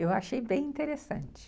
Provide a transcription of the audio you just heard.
Eu achei bem interessante.